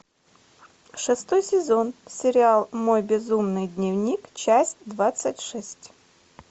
шестой сезон сериал мой безумный дневник часть двадцать шесть